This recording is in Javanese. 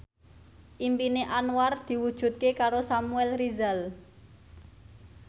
impine Anwar diwujudke karo Samuel Rizal